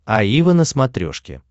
аива на смотрешке